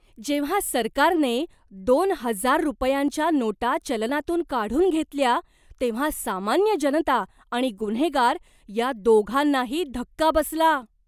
जेव्हा सरकारने दोन हजार रुपयांच्या नोटा चलनातून काढून घेतल्या तेव्हा सामान्य जनता आणि गुन्हेगार या दोघांनाही धक्का बसला.